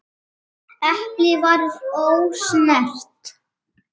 Eplið var ósnert.